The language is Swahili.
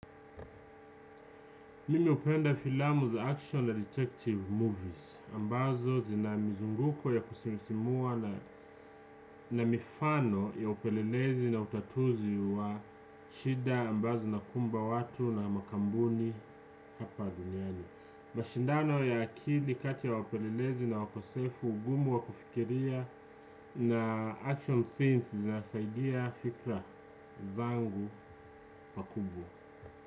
Mimi hupenda filamu za action na detective movies ambazo zina mizunguko ya kusisimua na mifano ya upelelezi na utatuzi wa shida ambazo zinakumba watu na makampuni hapa duniani mashindano ya akili kati ya wapelelezi na wakosefu ugumu wa kufikiria na action scenes zinasaidia fikra zangu pakubwa.